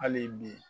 Hali bi